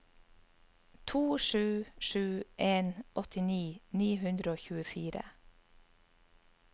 to sju sju en åttini ni hundre og tjuefire